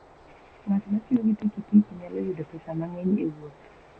Ng'at ma tiyo gi pikipiki nyalo yudo pesa mang'eny e wuoth.